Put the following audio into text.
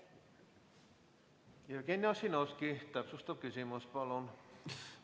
Jevgeni Ossinovski, täpsustav küsimus, palun!